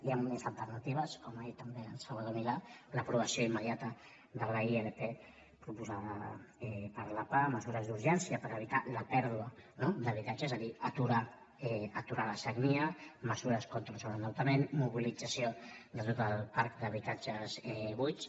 hi han més alternatives com ha dit també el salvador milà l’aprovació immediata de la ilp proposada per la pah mesures d’urgència per evitar la pèrdua no d’habitatge és a dir aturar la sagnia mesures contra el sobreendeutament mobilització de tot el parc d’habitatges buits